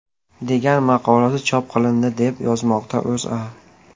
degan maqolasi chop qilindi, deb yozmoqda O‘zA.